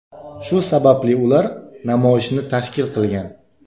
Shu sababli ular namoyishni tashkil qilgan.